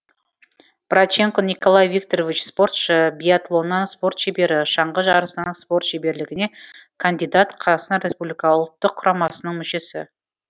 брайченко николай викторович спортшы биатлоннан спорт шебері шаңғы жарысынан спорт шеберлігіне кандидат қазақстан республика ұлттық құрамасының мүшесі